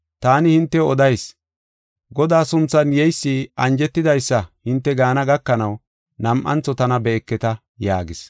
Taani hintew odayis; ‘Godaa sunthan yeysi anjetidaysa’ hinte gaana gakanaw nam7antho tana be7eketa” yaagis.